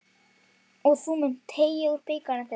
Og þú munt teyga úr bikar þeirra.